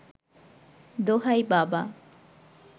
দোহাই বাবা